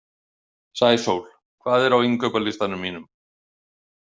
Sæsól, hvað er á innkaupalistanum mínum?